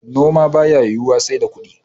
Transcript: noma ba ya yiwuwa sai da kudi